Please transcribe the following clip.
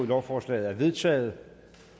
lovforslaget er vedtaget